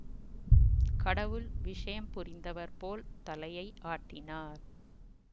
கடவுள் விஷயம் புரிந்தவர் போல் தலையை ஆட்டினார்